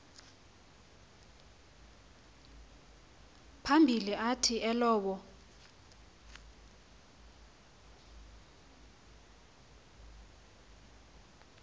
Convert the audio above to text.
phambili athi elowo